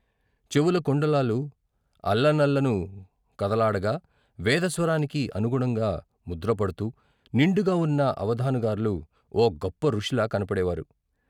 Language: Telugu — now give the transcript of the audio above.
చెవుల కుండలాలు అల్లనల్లను కదలాడగా వేద స్వరానికి అనుగుణంగా ముద్రపడ్తూ నిండుగా ఉన్న అవధానుగార్లు ఓ గొప్ప ఋషిలా కన్పడేవారు.